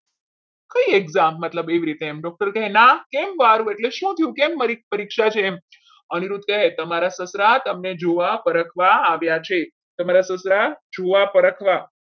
કઈ exam મતલબ એવી રીતે doctor કહેના કેમ મારું? કેમ શું થયું કે મારી પરીક્ષા છે અનિરુદ્ધ કહે તમારા સસરા તમને જોવા આવ્યા છે તમારા સસરા જોવા પર રાખવા